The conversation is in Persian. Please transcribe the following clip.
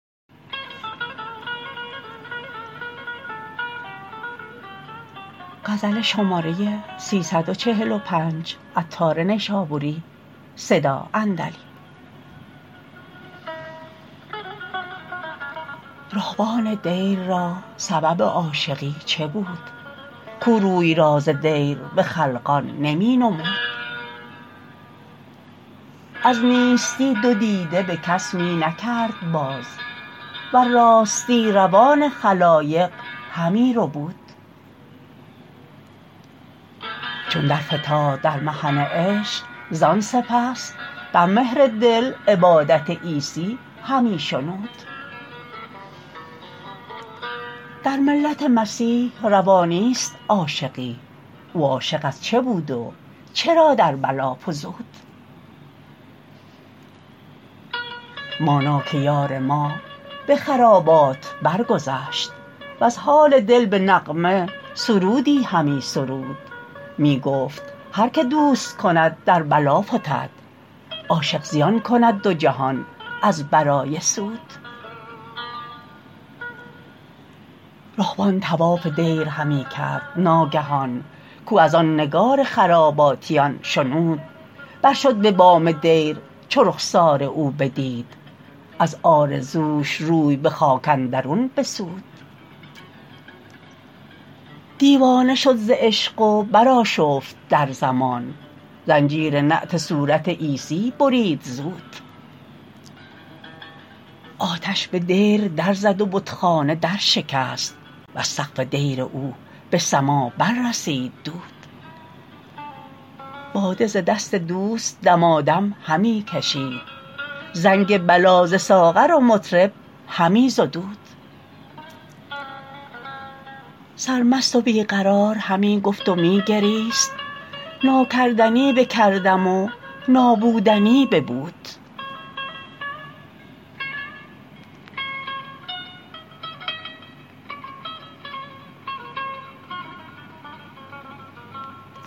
رهبان دیر را سبب عاشقی چه بود کاو روی راز دیر به خلقان نمی نمود از نیستی دو دیده به کس می نکرد باز وز راستی روان خلایق همی ربود چون در فتاد در محن عشق زان سپس در مهر دل عبادت عیسی همی شنود در ملت مسیح روا نیست عاشقی او عاشق از چه بود و چرا در بلا فزود مانا که یار ما به خرابات برگذشت وز حال دل به نغمه سرودی همی سرود می گفتهر که دوست کند در بلا فتد عاشق زیان کند دو جهان از برای سود رهبان طواف دیر همی کرد ناگهان که آواز آن نگار خراباتیان شنود برشد به بام دیر چو رخسار او بدید از آرزوش روی به خاک اندرون بسود دیوانه شد ز عشق و برآشفت در زمان زنجیر نعت صورت عیسیٰ برید زود آتش به دیر درزد و بتخانه درشکست وز سقف دیر او به سما بر رسید دود باده ز دست دوست دمادم همی کشید زنگ بلا ز ساغر و مطرب همی زدود سرمست و بی قرار همی گفت و می گریست ناکردنی بکردم تا بودنی ببود